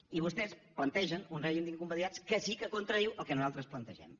i vostès plantegen un règim d’incompatibilitats que sí que contradiu el que nosaltres plantegem